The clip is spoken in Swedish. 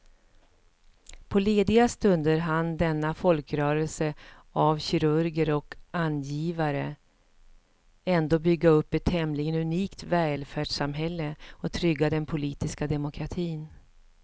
På lediga stunder hann denna folkrörelse av kirurger och angivare ändå bygga upp ett tämligen unikt välfärdssamhälle och trygga den politiska demokratin.